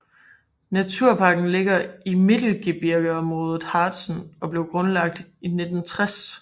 Naturparken ligger i Mittelgebirgeområdet Harzen og blev grundlagt i 1960